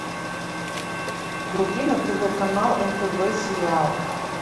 вруби на тв канал нтв сериал